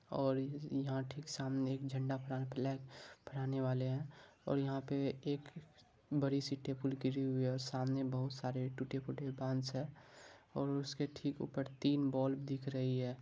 और इहां ठीक सामने एक झंड़ा फ्लैग फहराने वाले है और यहां पे एक बड़ी सी टेबल गिरी हुई है और सामने बहुत सारे टूटे फूटे बांस है और उसके ठीक ऊपर तीन बोल दिख रही है।